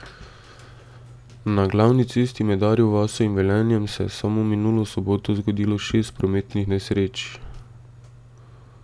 Na glavni cesti med Arjo vasjo in Velenjem se je samo minulo soboto zgodilo šest prometnih nesreč.